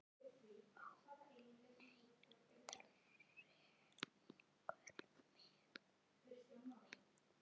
Ó, nei, drengur minn.